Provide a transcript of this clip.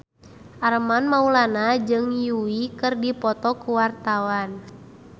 Armand Maulana jeung Yui keur dipoto ku wartawan